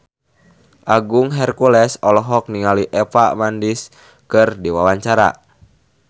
Agung Hercules olohok ningali Eva Mendes keur diwawancara